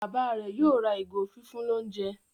Bàbá rẹ yóò ra ìgò fífún l'ounjẹ.